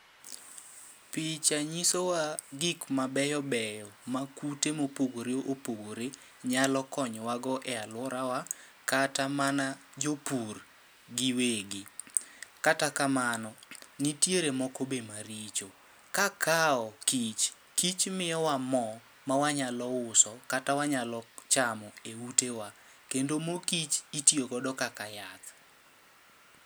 Picha nyiso wa gik ma beyo beyo ma kute mopogore opogore nyalo konyowa go e alworawa kata mana jopur gi wegi. Kata kamano, nitiere moko be ma richo. Kakawo kich, kich miyowa mo mawanyalo uso kata wanyalo chamo e ute wa. Kendo mo kich itiyo godo kaka yath.